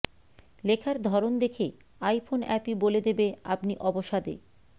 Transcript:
লেখার ধরন দেখে আইফোন অ্যাপই বলে দেবে আপনি অবসাদে